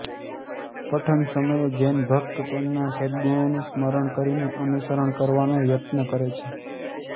પઠન સમયે જૈન ભકત તેમના સદ્ગુણોનું સ્મરણ કરીને અનુસરણ કરવાનો યત્ન કરે છે